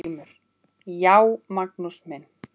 GRÍMUR: Já, Magnús minn!